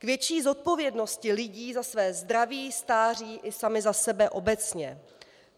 K větší zodpovědnosti lidí za své zdraví, stáří i sami za sebe obecně.